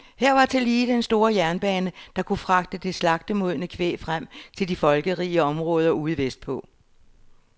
Her var tillige den store jernbane, der kunne fragte det slagtemodne kvæg frem til de folkerige områder ude vestpå.